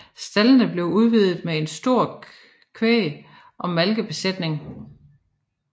Staldene blev udvidet med en stor kvæg og malkebesætning